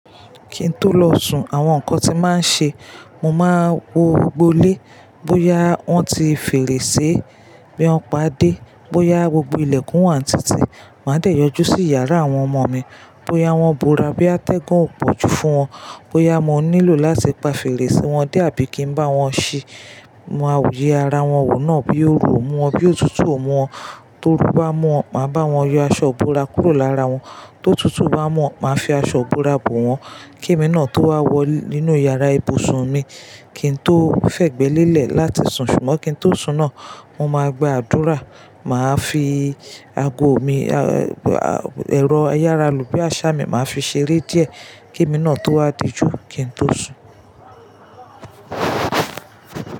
Kí n tó lọ sùn, àwọn nǹkan tí mo màá n ṣe, mo máa wo gbogbo ilé bóyá wọ́n ti fèrèsé bí wọ́n padé, bóyá gbogbo ilẹ̀kùn wà ní títì. Màá dẹ̀ yọjú sí yàrá àwọn ọmọ mi, bóyá wọ́n bora, boya tẹ́gun o pọ̀jù fún wọn, bóyà mo nílò láti pa fèrèsé wọn dé àbí kí n bá wọn ṣi. Mo máa ye ara wọn wò náà bóya orù o mú wọn, boya otutù o mú wọn, torú bá muwọ́n, màá bá wọn ye aṣọ ibora kúrò lára wọn. Tó tutù bá muwọ́n, màá fi aṣọ ibora bò wọ́n. Kí èmi náà tó wá wọ inú yàrá ibùsùn mi, kí n tó fẹ̀gbẹ́ lélẹ̀ láti sùn, ṣùgbọ́n kí n tó sùn náà, mo máa gba àdúrà, màá fi ago mi, ẹ̀rọ ayára lò bí àsá mi, màá fi ṣeré díẹ̀ kí èmi náà tó wá dijú kí n tó sùn.